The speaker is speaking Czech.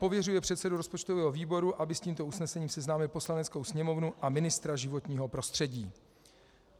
Pověřuje předsedu rozpočtového výboru, aby s tímto usnesením seznámil Poslaneckou sněmovnu a ministra životního prostředí.